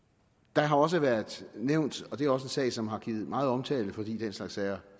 der har også været nævnt og det er også en sag som har givet meget omtale fordi den slags sager